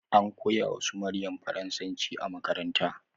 An koya wa su maryam faransanci a makaranta